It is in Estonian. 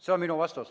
See on minu vastus.